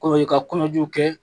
Kɔrɔ ye ka kɔnɔjuw kɛ.